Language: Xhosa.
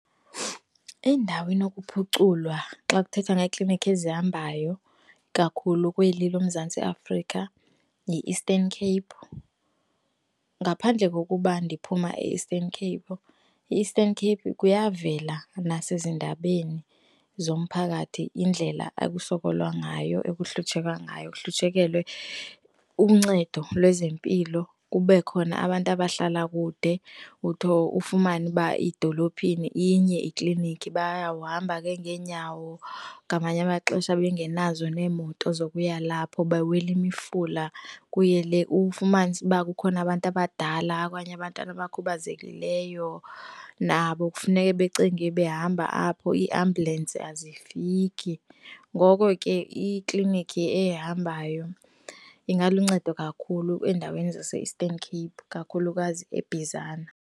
Indawo enokuphuculwa xa kuthethwa ngeeklinikhi ezihambayo kakhulu kweli loMzantsi Afrika yiEastern Cape. Ngaphandle kokuba ndiphuma e-Eastern Cape, iEastern Cape kuyavela nasezindabeni zomphakathi indlela ekusokolwa ngayo, ekuhlutshekwa ngayo kuhlutshekelwe uncedo lwezempilo kube khona abantu abahlala kude, ufumane uba idolophini inye ikliniki bayawuhamba ke ngeenyawo ngamanye amaxesha bengenazo neemoto zokuya lapho bawele imifula kuye le. Ufumanise uba kukhona abantu abadala okanye abanye abantwana abakhubazekileyo nabo kufuneke becinge behamba apho, iiambhyulensi azifiki ngoko ke ikliniki ehambayo ingaluncedo kakhulu endaweni zase-Eastern Cape kakhulukazi eBhizana.